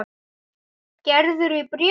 Gerður í bréfi.